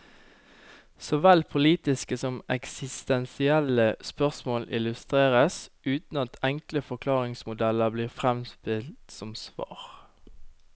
Såvel politiske som eksistensielle spørsmål illustreres, uten at enkle forklaringsmodeller blir fremstilt som svar.